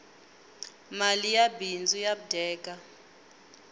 mali ya bindzu ya dyeka